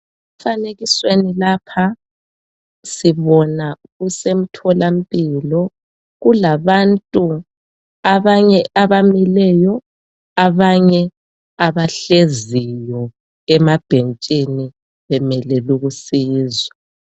Emfanekisweni lapha sibona kusemtholampilo kulabantu abanye abamileyo, abanye abahleziyo emabhentshini bemelele ukusizwa.